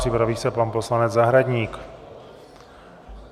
Připraví se pan poslanec Zahradník.